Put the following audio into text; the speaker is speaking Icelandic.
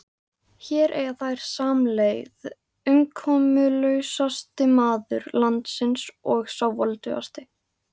Hér eiga þeir samleið, umkomulausasti maður landsins og sá voldugasti.